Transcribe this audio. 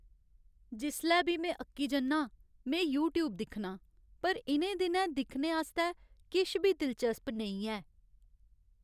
जिसलै बी में अक्की जन्ना आं, में यूट्यूब दिक्खनां। पर इ'नें दिनैं दिक्खने आस्तै किश बी दिलचस्प नेईं है।